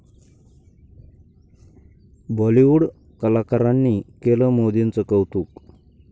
बॉलिवूड कलाकारांनी केलं मोदींचं कौतुक